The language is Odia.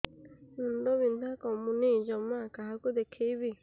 ମୁଣ୍ଡ ବିନ୍ଧା କମୁନି ଜମା କାହାକୁ ଦେଖେଇବି